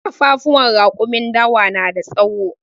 Ƙafafuwan raƙumin dawa na da tsawo.